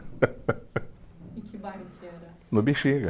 Em que bairro que era? No Bexiga